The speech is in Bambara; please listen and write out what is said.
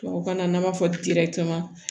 Tubabukan na n'an b'a fɔ